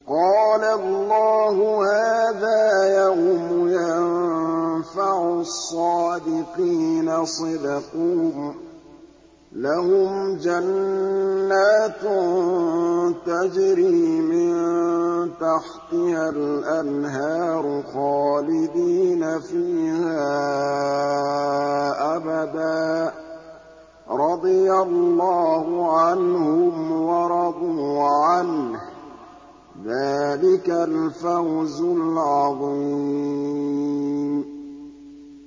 قَالَ اللَّهُ هَٰذَا يَوْمُ يَنفَعُ الصَّادِقِينَ صِدْقُهُمْ ۚ لَهُمْ جَنَّاتٌ تَجْرِي مِن تَحْتِهَا الْأَنْهَارُ خَالِدِينَ فِيهَا أَبَدًا ۚ رَّضِيَ اللَّهُ عَنْهُمْ وَرَضُوا عَنْهُ ۚ ذَٰلِكَ الْفَوْزُ الْعَظِيمُ